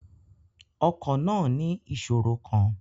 Ọkọ̀ náà ní ìṣòro kan.